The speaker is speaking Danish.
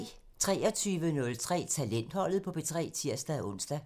23:03: Talentholdet på P3 (tir-ons)